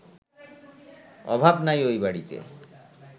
অভাব নাই ওই বাড়িতে